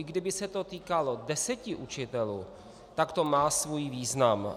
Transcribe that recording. I kdyby se to týkalo deseti učitelů, tak to má svůj význam.